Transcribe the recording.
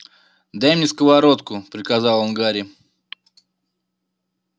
дай мне сковородку приказал он гарри